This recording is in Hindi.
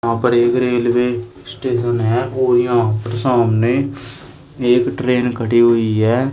यहां पर एक रेलवे स्टेशन है और यहां पर सामने एक ट्रेन खड़ी हुई है।